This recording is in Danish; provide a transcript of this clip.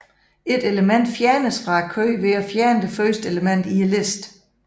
Et element fjernes fra køen ved at fjerne det første element i listen